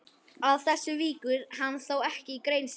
Að þessu víkur hann þó ekki í grein sinni.